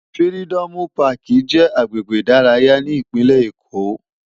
Firidòmú Pàkí jè àgbégbé idàráyá ni Ipinlé Ékó